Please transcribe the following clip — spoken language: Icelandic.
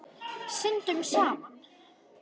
Syndum saman.